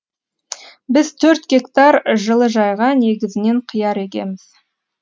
біз төрт гектар жылыжайға негізінен қияр егеміз